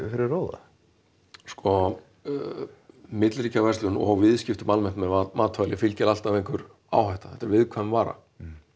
fyrir róða sko milliríkjaverslun og viðskipti almennt með matvæli fylgir alltaf einhver áhætta þetta er viðkvæm vara